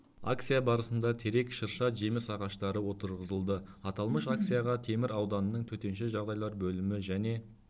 акция барысында терек шырша жеміс ағаштары отырғызылды аталмыш акцияға темір ауданының төтенше жағдайлар бөлімі және